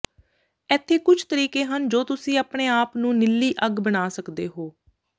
ਇੱਥੇ ਕੁਝ ਤਰੀਕੇ ਹਨ ਜੋ ਤੁਸੀਂ ਆਪਣੇ ਆਪ ਨੂੰ ਨੀਲੀ ਅੱਗ ਬਣਾ ਸਕਦੇ ਹੋ